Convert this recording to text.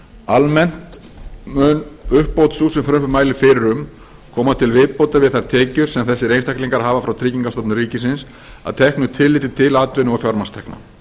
almennt mun uppbót sú sem frumvarpið mælir fyrir um koma til viðbótar við þær tekjur sem þessir einstaklingar hafa frá tryggingastofnun ríkisins að teknu tilliti til atvinnu og fjármagnstekna